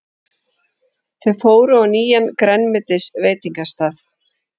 Þau fóru á nýjan grænmetisveitingastað.